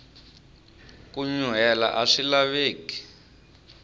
ku nyuhela aswi laveki